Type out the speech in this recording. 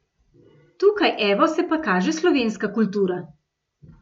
Tukaj evo se pa kaže slovenska kultura!